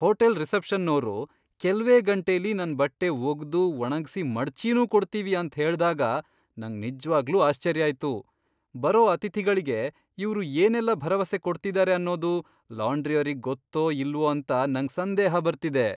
Hotel ರಿಸೆಪ್ಷನ್ನೋರು ಕೆಲ್ವೇ ಗಂಟೆಲಿ ನನ್ ಬಟ್ಟೆ ಒಗ್ದು, ಒಣಗ್ಸಿ, ಮಡ್ಚಿನೂ ಕೊಡ್ತೀವಿ ಅಂತ್ ಹೇಳ್ದಾಗ ನಂಗ್ ನಿಜ್ವಾಗ್ಲೂ ಆಶ್ಚರ್ಯ ಆಯ್ತು. ಬರೋ ಅತಿಥಿಗಳ್ಗೆ ಇವ್ರು ಏನೆಲ್ಲ ಭರವಸೆ ಕೊಡ್ತಿದಾರೆ ಅನ್ನೋದು ಲಾಂಡ್ರಿಯೋರಿಗ್ ಗೊತ್ತೋ ಇಲ್ವೋ ಅಂತ ನಂಗ್ ಸಂದೇಹ ಬರ್ತಿದೆ.